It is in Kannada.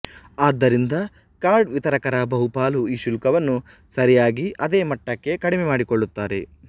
ಆದ್ದರಿಂದ ಕಾರ್ಡ್ ವಿತರಕರ ಬಹುಪಾಲು ಈ ಶುಲ್ಕವನ್ನು ಸರಿಯಾಗಿ ಅದೇ ಮಟ್ಟಕ್ಕೆ ಕಡಿಮೆ ಮಾಡಿಕೊಳ್ಳುತ್ತಾರೆ